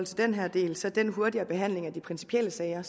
den her del altså den hurtigere behandling af de principielle sager